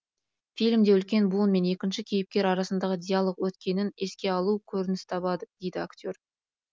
фильмде үлкен буын мен екінші кейіпкер арасындағы диалог өткенін еске алу көрініс табады дейді актер